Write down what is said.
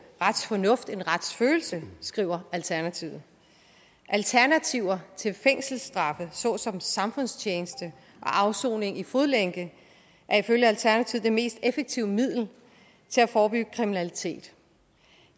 retsfornuft end på retsfølelse skriver alternativet alternativer til fængselsstraffe såsom samfundstjeneste og afsoning med fodlænke er ifølge alternativet det mest effektive middel til at forebygge kriminalitet